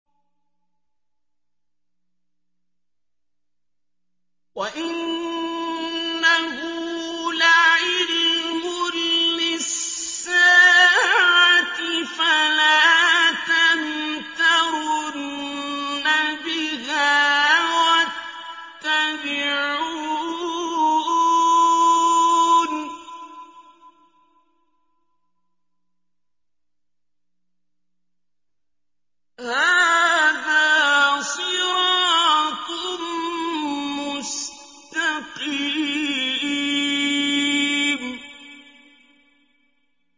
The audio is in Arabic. وَإِنَّهُ لَعِلْمٌ لِّلسَّاعَةِ فَلَا تَمْتَرُنَّ بِهَا وَاتَّبِعُونِ ۚ هَٰذَا صِرَاطٌ مُّسْتَقِيمٌ